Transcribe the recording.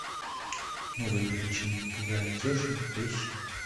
новые приключения попугая кеши поищи